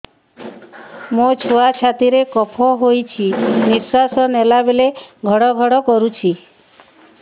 ମୋ ଛୁଆ ଛାତି ରେ କଫ ହୋଇଛି ନିଶ୍ୱାସ ନେଲା ବେଳେ ଘଡ ଘଡ କରୁଛି